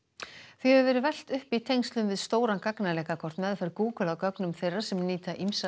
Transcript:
því hefur verið velt upp í tengslum við stóran gagnaleka hvort meðferð Google á gögnum þeirra sem nýta ýmsa